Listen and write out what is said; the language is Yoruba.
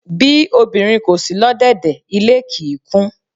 Bí obìnrin kò si lọ́dẹ́dẹ̀, ilé kì í kún.